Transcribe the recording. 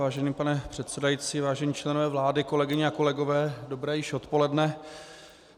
Vážený pane předsedající, vážení členové vlády, kolegyně a kolegové, dobré již odpoledne.